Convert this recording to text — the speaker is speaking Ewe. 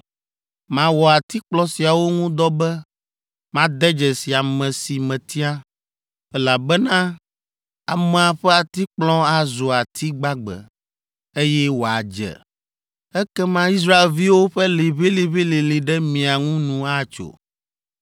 Mawɔ atikplɔ siawo ŋu dɔ be made dzesi ame si metia, elabena amea ƒe atikplɔ azu ati gbagbe, eye wòadze! Ekema Israelviwo ƒe liʋĩliʋĩlilĩ ɖe mia ŋu nu atso!’ ”